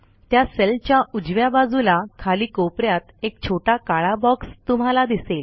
त्या सेलच्या उजव्या बाजूला खाली कोप यात एक छोटा काळा बॉक्स तुम्हाला दिसेल